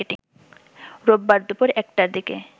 রোববার দুপুর ১টার দিকে